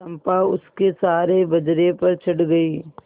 चंपा उसके सहारे बजरे पर चढ़ गई